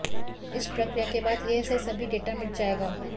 इस प्रक्रिया के बाद यह से सभी डेटा मिट जाएगा